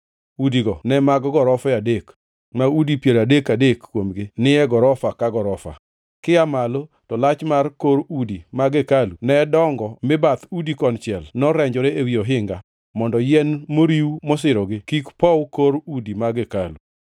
Udigo ne mag gorofe adek, ma udi piero adek adek kuomgi ni e gorofa ka gorofa. Kia malo, to lach mar kor udi mag hekalu ne dongo mi bath udigo konchiel norenjore ewi ohinga, mondo yien moriw masirogi kik pow kor udi mag hekalu.